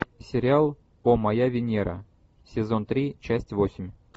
сериал о моя венера сезон три часть восемь